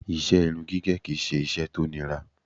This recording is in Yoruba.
Ìṣe irun gígẹ̀ kí i ṣe iṣẹ́ tó nira